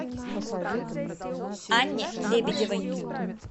анне лебедевой